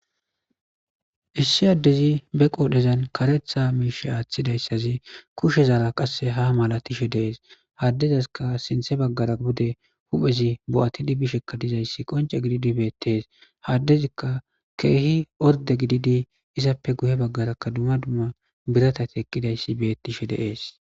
issi addezi be qoodhezan karetha miishe aaththidayssazi kushezara qasse ha mala tishe deees haddezaska sinthe baggara bude huphezi bo7ati dibishekka dizayssi qonce gididibeettes haddezikka keehi orde gididi izappe guhe baggarakka duma dumma biratati eqqidayssi bettishe deees